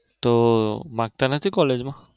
તો માંગતા નથી college માં?